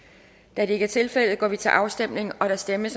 da det ikke er tilfældet går vi til afstemning afstemning